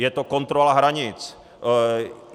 Je to kontrola hranic.